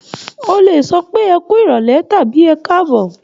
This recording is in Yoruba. O lè sọ pé ẹ kú ìrọ̀lẹ̀ tàbí ẹ káàbọ̀.